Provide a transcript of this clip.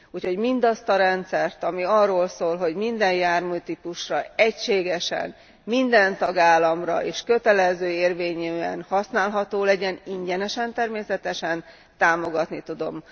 Úgyhogy mindazt a rendszert, ami arról szól, hogy minden járműtípusra egységesen, minden tagállamban és kötelező érvényűen használható legyen ingyenesen természetesen támogatni tudom.